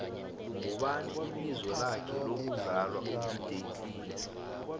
ngubani ibizo lakhe lokvzalwa u dj cleo